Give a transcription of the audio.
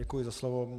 Děkuji za slovo.